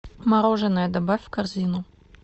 мороженое добавь в корзину